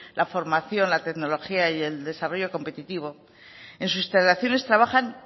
la formación la tecnología y el desarrollo competitivo en sus instalaciones trabajan